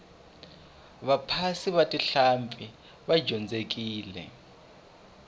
vaphasi va tihlampfi va dyondzekile